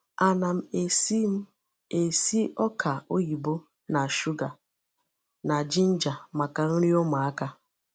Ana m esi m esi ọka oyibo na sugar na ginger maka nri ụmụaka.